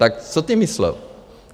Tak co tím myslel?